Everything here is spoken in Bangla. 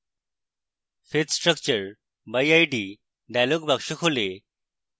fetch structure by id dialog box খোলে